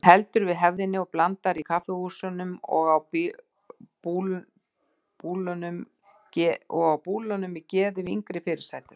Hún heldur við hefðinni og blandar í kaffihúsunum og á búlunum geði við yngri fyrirsætur.